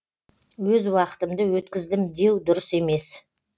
өз уақытымды өткіздім деу дұрыс емес